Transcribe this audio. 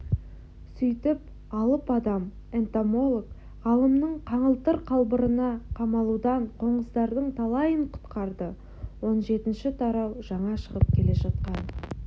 сөйтіп алып-адам энтомолог-ғалымның қаңылтыр қалбырына қамалудан қоңыздардың талайын құтқарды он жетінші тарау жаңа шығып келе жатқан